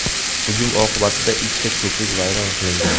Hujum oqibatida ikkita ko‘prik vayron qilingan.